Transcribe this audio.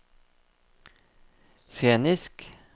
scenisk